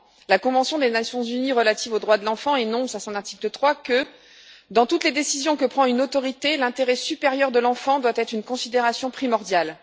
La Convention des Nations unies relative aux droits de l'enfant énonce à son article 3 que dans toutes les décisions que prend une autorité, l'intérêt supérieur de l'enfant doit être une considération primordiale.